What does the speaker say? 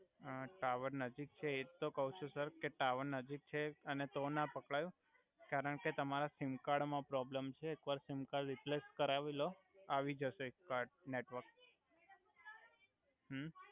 અ tower નજીક છે એજ તો કવ છુ સર કે ટાવર નજીક છે અને તો ના પકડાય કરણ કે તમારા સિમકાર્ડ મા પ્રોબલમ છે એક વાર સિમકાર્ડ રીપલેસ કરાવી લો આવી જ્સે કાર્ડ નેટવર્ક હુ